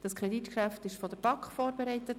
Das Kreditgeschäft wurde von der BaK vorbereitet.